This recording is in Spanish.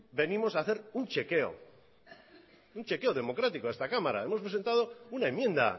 venimos hacer un chequeo un chequeo democrático a esta cámara hemos presentado una enmienda